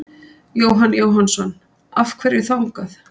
Jóhann Jóhannsson: Af hverju þangað?